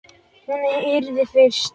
Hún yrði fyrst.